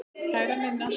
Kæra Ninna.